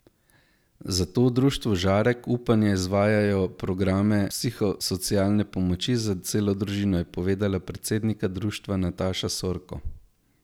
Zato v društvu Žarek upanja izvajajo programe psihosocialne pomoči za celo družino, je povedala predsednica društva Nataša Sorko.